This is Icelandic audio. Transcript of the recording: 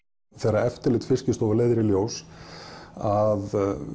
þegar eftirlit Fiskistofu leiðir í ljós að